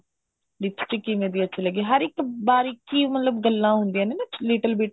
lipstick ਕਿਵੇਂ ਦੀ ਅੱਛੀ ਲੱਗੀ ਹਰ ਇੱਕ ਬਾਰੀਕੀ ਮਤਲਬ ਗੱਲਾ ਹੁੰਦੀਆਂ ਨੇ ਨਾ ਮਤਲਬ little bit